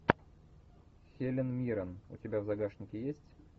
хелен мирон у тебя в загашнике есть